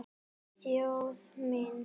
Þjóð mín!